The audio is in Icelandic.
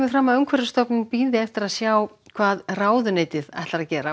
fram að Umhverfisstofnun bíði eftir að sjá hvað ráðuneytið ætlaði að gera